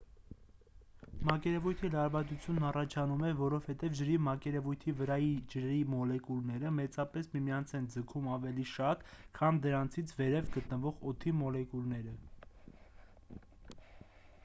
մակերևույթի լարվածությունն առաջանում է որովհետև ջրի մակերևույթի վրայի ջրի մոլեկուլները մեծապես միմյանց են ձգում ավելի շատ քան դրանցից վերև գտնվող օդի մոլեկուլները